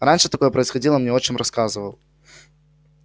раньше такое происходило мне отчим рассказывал